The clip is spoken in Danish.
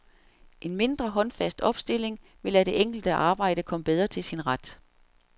En mindre håndfast opstilling ville lade det enkelte arbejde komme bedre til sin ret.